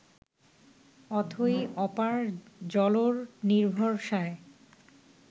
অথৈ, অপার জলর নির্ভরসায়